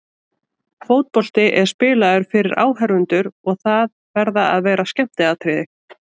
Fótbolti er spilaður fyrir áhorfendur og það verða að vera skemmtiatriði.